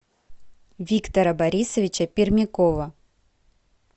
виктора борисовича пермякова